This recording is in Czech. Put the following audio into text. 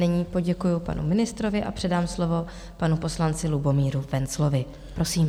Nyní poděkuji panu ministrovi a předám slovo panu poslanci Lubomíru Wenzlovi, prosím.